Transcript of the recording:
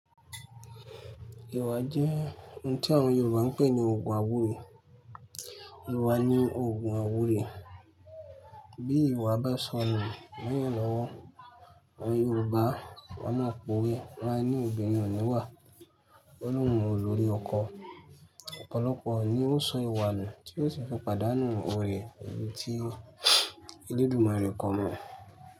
Ìwà jẹ́ ohun tí àwọn Yorùbá ń pè ní Òògùn àwúre. Ìwà ni òògùn àwúre. Bí ìwà bá sọnù láyé lọ́wọ́ àwọn Yorùbá, wọ́n á pòwe, wọ́n á ní obìnrin òní wà, o lóhùn o lórí ọkọ. Ọ̀pọ̀lọpọ̀ ni ó ń sọ ìwà nù tí ó sì fipadáánù oore ìdí tí elédùmarè kọ món.